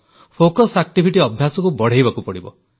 ବ୍ୟାୟାମ ଅଭ୍ୟାସକୁ ବଢ଼ାଇବାକୁ ପଡ଼ିବ